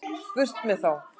Burt með þá.